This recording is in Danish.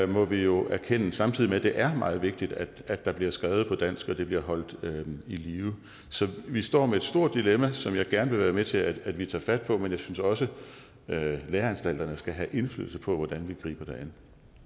må vi jo erkende samtidig med at det er meget vigtigt at der der bliver skrevet på dansk og at det bliver holdt i live så vi står med et stort dilemma som jeg gerne vil være med til at vi tager fat på men jeg synes også at læreanstalterne skal have indflydelse på hvordan vi griber det an